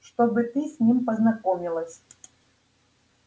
чтобы ты с ним познакомилась